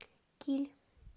киль